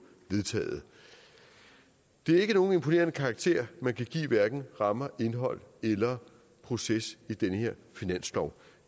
vedtaget det er ikke nogen imponerende karakter man kan give hverken rammer indhold eller proces i den her finanslov